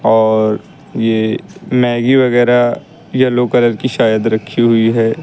और ये मैगी वगैरा येलो कलर की शायद रखी हुई है।